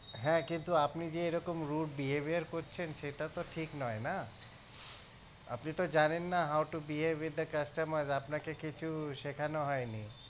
হ্যাঁ কিন্তু আপনি যে এরকম rude behaviour করছেন সেটা তো ঠিক নয় না আপনি তো জানেন না how to behave with a customer আপনাকে কিছু শেখানো হয়নি